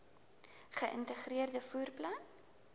geïntegreerde vervoer plan